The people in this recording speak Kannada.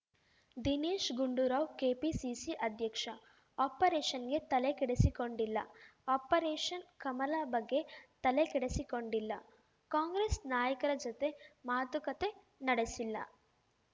ದಿನೇಶ್‌ ಗುಂಡೂರಾವ್‌ ಕೆಪಿಸಿಸಿ ಅಧ್ಯಕ್ಷ ಆಪರೇಷನ್‌ಗೆ ತಲೆಕೆಡಿಸಿಕೊಂಡಿಲ್ಲ ಆಪರೇಷನ್‌ ಕಮಲ ಬಗ್ಗೆ ತಲೆಕೆಡಿಸಿಕೊಂಡಿಲ್ಲ ಕಾಂಗ್ರೆಸ್‌ ನಾಯಕರ ಜತೆ ಮಾತುಕತೆ ನಡೆಸಿಲ್ಲ